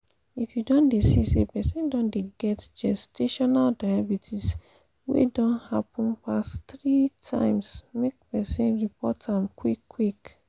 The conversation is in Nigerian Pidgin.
if you don dey see say persin don dey get gestational diabetes wey don happen pass three timesmake persin report am quick quick